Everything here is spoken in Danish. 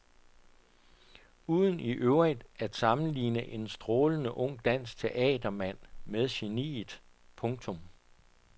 Uden i øvrigt at sammenligne en strålende ung dansk teatermand med geniet. punktum